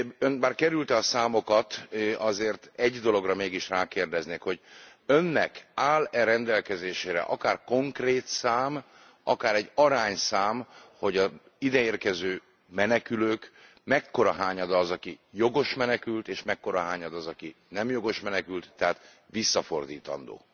Ön, bár kerülte a számokat, azért egy dologra mégis rákérdeznék, hogy Önnek áll e rendelkezésére akár konkrét szám, akár egy arányszám, hogy az ide érkező menekülők mekkora hányada az, aki jogos menekült és mekkora hányada az, aki nem jogos menekült, tehát visszafordítandó?